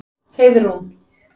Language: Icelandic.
Heiðrún